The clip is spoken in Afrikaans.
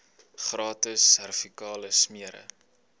gratis servikale smere